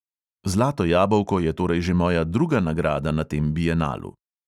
Zlato jabolko je torej že moja druga nagrada na tem bienalu.